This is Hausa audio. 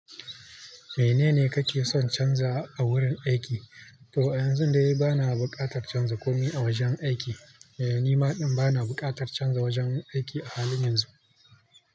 Menene kake son canza a wurin aiki? To a yanzu da yi bana buƙatar canza komai a wajen aiki. Eh, ni ma din, bana buƙatar canza wajen aiki a halin yanzu.